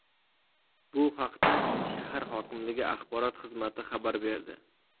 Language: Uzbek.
Bu haqda shahar hokimligi axborot xizmati xabar berdi .